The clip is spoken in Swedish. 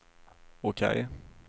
OK